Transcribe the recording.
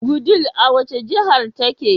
Wudil a wace jahar take?